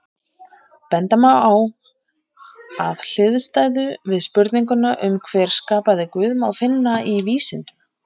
Benda má á að hliðstæðu við spurninguna um hver skapaði Guð má finna í vísindum.